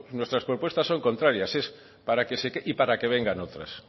nuestras propuestas son contrarias es para que se queden y para que vengan otras